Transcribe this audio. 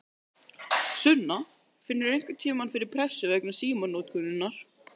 Sunna: Finnurðu einhverntímann fyrir pressu vegna símanotkunarinnar?